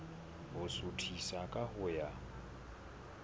ho suthisa ka ho ya